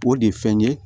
O de ye fɛn ye